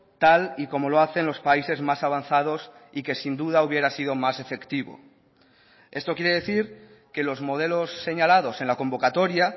tal y como lo hacen los países más avanzados y que sin duda hubiera sido más efectivo esto quiere decir que los modelos señalados en la convocatoria